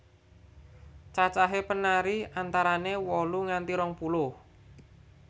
Cacahe penari antarane wolu nganti rong puluh